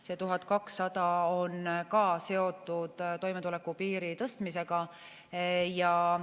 See 1200 on ka seotud toimetuleku piiri tõstmisega.